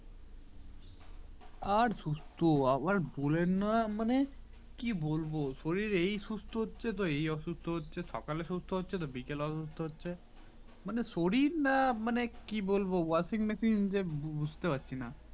আর সুস্থ আর বলেন না মানে কি বলবো শরীর এই সুস্থ হচ্ছে এই অসুস্থ হচ্ছে সকালে সুস্থ হচ্ছে তো বিকেল এ অসুস্থ হচ্ছে মানে শরীর না মানে কি বলবো washing machine যে বুঝতে পারছিনা